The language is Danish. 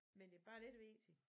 Men det bare lidt vigtigt